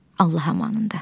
Allah amanında.